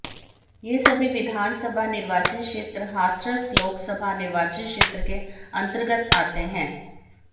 यह सभी विधान सभा निर्वाचन क्षेत्र हाथरस लोक सभा निर्वाचन क्षेत्र के अंतर्गत आते हैं